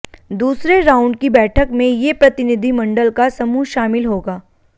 दूसरे राउंड की बैठक में ये प्रतिनिधि मंडल का समूह शामिल होगा